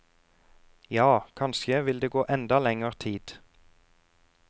Ja, kanskje vil det gå enda lenger tid.